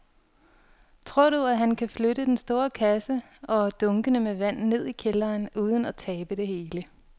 Tror du, at han kan flytte den store kasse og dunkene med vand ned i kælderen uden at tabe det hele?